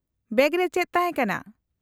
-Bag ᱨᱮ ᱪᱮᱫ ᱛᱟᱦᱮᱸ ᱠᱟᱱᱟ ?